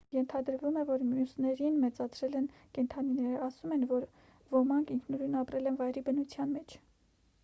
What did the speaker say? ենթադրվում է որ մյուսներին մեծացրել են կենդանիները ասում են որ ոմանք ինքնուրույն ապրել են վայրի բնության մեջ